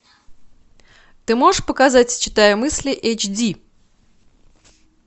ты можешь показать читая мысли эйч ди